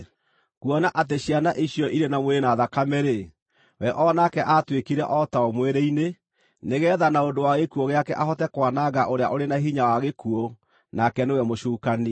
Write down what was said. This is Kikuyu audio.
Kuona atĩ ciana icio irĩ na mwĩrĩ na thakame-rĩ, we o nake aatuĩkire o tao mwĩrĩ-inĩ, nĩgeetha na ũndũ wa gĩkuũ gĩake ahote kwananga ũrĩa ũrĩ na hinya wa gĩkuũ, nake nĩwe mũcukani,